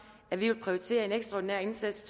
at ville prioritere en ekstraordinær indsats